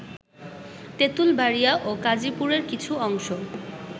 তেতুল বাড়িয়া ও কাজিপুরের কিছু অংশ